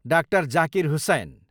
डा. जाकिर हुसैन